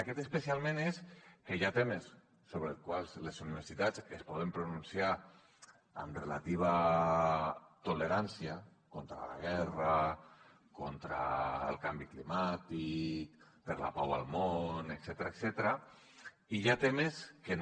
aquest especialment és que hi ha temes sobre els quals les universitats es poden pronunciar amb relativa tolerància contra la guerra contra el canvi climàtic per la pau al món etcètera i hi ha temes que no